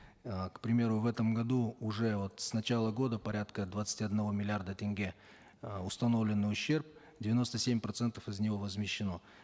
э к примеру в этом году уже вот с начала года порядка двадцати одного миллиарда тенге э установлен ущерб девяносто семь процентов из него возмещено